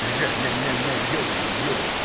женя ой ой